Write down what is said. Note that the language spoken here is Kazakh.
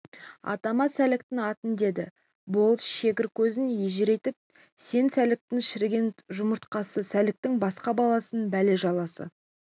атама сәліктің атын деді болыс шегір көзін ежірейтіп сен сәліктің шіріген жұмыртқасы сәліктің басқа баласының бәле-жаласы